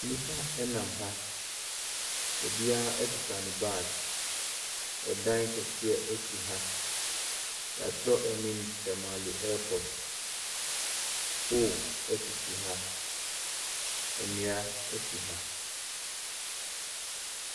Plane kɛseɛ si ha. Sogyani gyina ha. Tem temmammufoɔ nso gyina plane no ho bebre a wɔkuta wɔn bags a wɔreba abɛforo plane no.